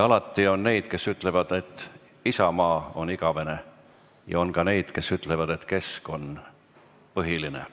Alati on neid, kes ütlevad, et Isamaa on igavene, ja on ka neid, kes ütlevad, et Keskerakond on põhiline.